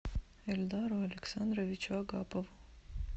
эльдару александровичу агапову